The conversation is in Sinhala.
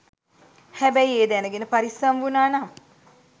හැබැයි ඒ දැනගෙන පරිස්සම් වුනානම්